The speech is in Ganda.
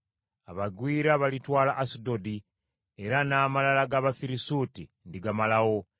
Abagwira balitwala Asudodi, era n’amalala g’Abafirisuuti ndigamalawo.